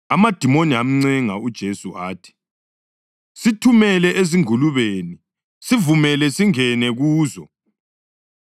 Amadimoni amncenga uJesu athi, “Sithumele ezingulubeni; sivumele singene kuzo.”